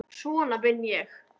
Svona vinn ég.